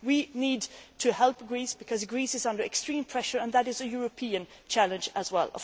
We need to help Greece because Greece is under extreme pressure, and that is a European challenge as well.